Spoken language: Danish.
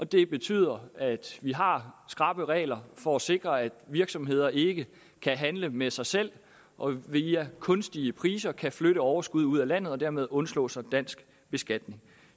det betyder at vi har skrappe regler for at sikre at virksomheder ikke kan handle med sig selv og via kunstige priser kan flytte overskud ud af landet og dermed undslå sig dansk beskatning